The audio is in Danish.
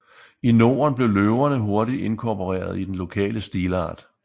I Norden blev løverne hurtigt inkorporeret i den lokale stilart